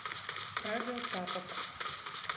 радио тапок